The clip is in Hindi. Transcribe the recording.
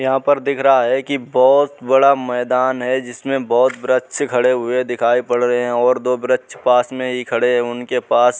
यहाँ पर दिख रहा है की बहुत बड़ा मैंदान है जिसमे बहुत वृक्ष खड़े हुए दिखाई पड़ रहे है ओर दो वृक्ष पास मे ही खड़े है उनके पास --